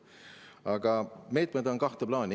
Aga meetmeid on kahte plaani.